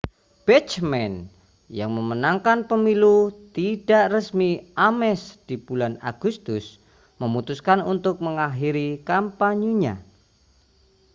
bachmann yang memenangkan pemilu tidak resmi ames di bulan agustus memutuskan untuk mengakhiri kampanyenya